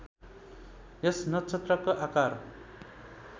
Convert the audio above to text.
यस नक्षत्रको आकार